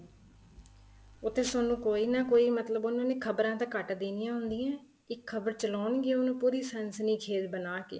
ਉੱਥੇ ਸਾਨੂੰ ਕੋਈ ਨਾ ਕੋਈ ਮਤਲਬ ਉਹਨਾ ਨੇ ਖਬਰਾਂ ਤਾਂ ਘੱਟ ਦੇਣੀਆਂ ਹੁੰਦੀਆਂ ਏ ਇੱਕ ਖਬਰ ਚਲਾਉਣ ਗਏ ਉਹ ਪੂਰੀ ਸੰਸ਼ਦੀ ਖੇਲ ਬਣਾਕੇ